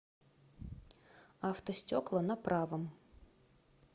автостекла на правом